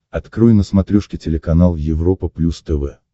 открой на смотрешке телеканал европа плюс тв